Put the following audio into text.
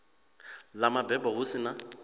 ḽa mabebo hu si na